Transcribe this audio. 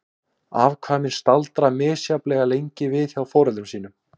Afkvæmin staldra misjafnlega lengi við hjá foreldrum sínum.